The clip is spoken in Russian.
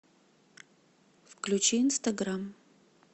включи инстаграм